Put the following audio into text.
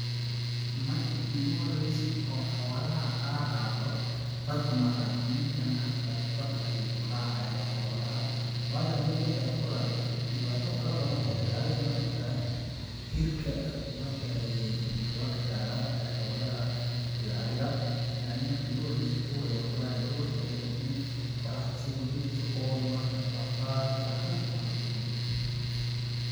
Marki iigu horeyse oo xoolaha aan raaco ,badd kuma raacin ninkan hada badd ayuu ku raacaya xoolaha ,waayo hadii badd aad ku raacdid dhibaato fara badan ayaa kaga imaan kartaa ,hirka badda ayeey laqi karaa xoolaha sida ariga , lakin aniga marki iigu horeyse duur ayaan ku raace ,duurka ayaan ku dhume ,qoraxda sidi ay ii dileyse ,oon waaka rafaad ,wax dhan aan la kulmay.